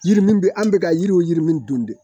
Yiri min bɛ an bɛ ka yiriw yiri min dun de